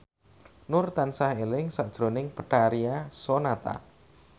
Nur tansah eling sakjroning Betharia Sonata